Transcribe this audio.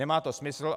Nemá to smysl.